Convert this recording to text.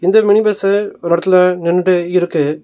இந்த mini bus ஒரு இடத்துல நின்டு இருக்கு.